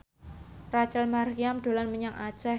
Rachel Maryam dolan menyang Aceh